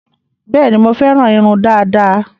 Bẹẹni, mo féràn irun dada